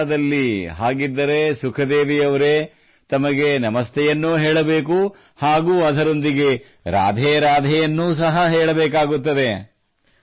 ಮಥುರಾದಲ್ಲಿ ಹಾಗಿದ್ದರೆ ಸುಖದೇವಿ ಅವರೇ ತಮಗೆ ನಮಸ್ತೆಯನ್ನೂ ಹೇಳಬೇಕು ಹಾಗೂ ಅದರೊಂದಿಗೆ ರಾಧೇ ರಾಧೇ ಯನ್ನೂ ಸಹ ಹೇಳಬೇಕಾಗುತ್ತದೆ